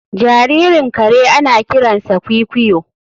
Jaririn kare ana kiransa kwikwiyo